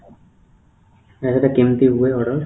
sir ସେଇଟା କେମିତି ହୁଏ order